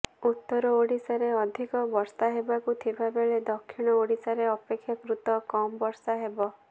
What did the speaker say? ଉତ୍ତର ଓଡ଼ିଶାରେ ଅଧିକ ବର୍ଷା ହେବାକୁ ଥିବା ବେଳେ ଦକ୍ଷିଣ ଓଡ଼ିଶାରେ ଅପେକ୍ଷାକୃତ କମ୍ ବର୍ଷା ହେବ